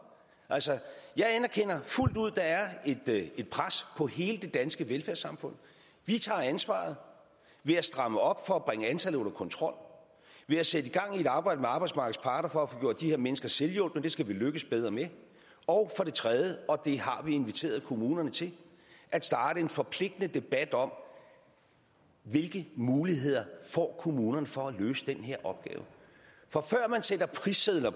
jeg anerkender fuldt ud at der er et pres på hele det danske velfærdssamfund vi tager ansvaret ved at stramme op for at bringe antallet under kontrol ved at sætte gang i et arbejde med arbejdsmarkedets parter for at få gjort de her mennesker selvhjulpne det skal vi lykkes bedre med og for det tredje og det har vi inviteret kommunerne til at starte en forpligtende debat om hvilke muligheder kommunerne får for at løse den her opgave for før man sætter prissedler